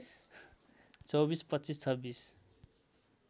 २४ २५ २६